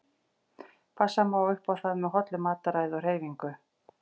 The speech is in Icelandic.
Passa má upp á það með hollu mataræði og hreyfingu.